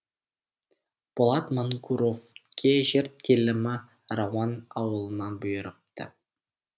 болат мангуровке жер телімі рауан ауылынан бұйырыпты